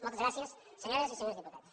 moltes gràcies senyores i senyors diputats